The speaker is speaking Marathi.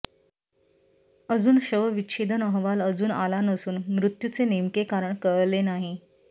अजून शवविच्छेदन अहवाल अजून आला नसून मृत्यूचे नेमके कारण कळले नाही